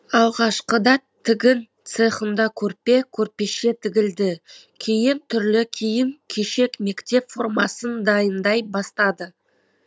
алғашқыда тігін цехында көрпе көрпеше тігілді кейін түрлі киім кешек мектеп формасын дайындай бастады